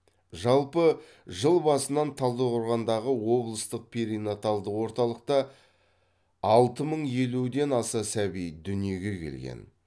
жалпы жыл басынан талдықорғандағы облыстық перинаталдық орталықта алты мың елуден аса сәби дүниеге келген